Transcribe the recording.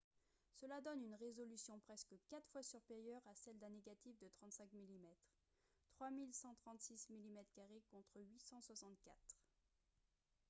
cela donne une résolution presque quatre fois supérieure à celle d'un négatif de 35 mm 3136 mm2 contre 864